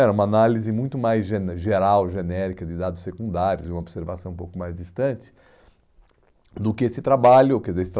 Era uma análise muito mais gené, geral, genérica, de dados secundários, de uma observação um pouco mais distante, do que esse trabalho, quer dizer,